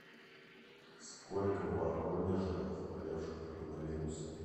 сколько в воронеже заболевших коронавирусом